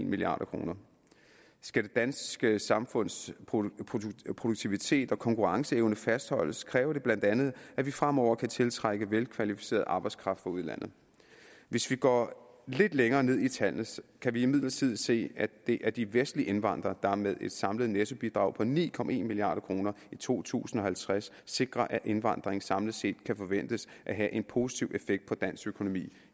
milliard kroner skal det danske samfunds produktivitet og konkurrenceevne fastholdes kræver det bla at vi fremover kan tiltrække velkvalificeret arbejdskraft fra udlandet hvis vi går lidt længere ned i tallene kan vi imidlertid se at det er de vestlige indvandrere der med et samlet nettobidrag på ni på ni milliard kroner i to tusind og halvtreds sikrer at indvandringen samlet set kan forventes at have en positiv effekt på dansk økonomi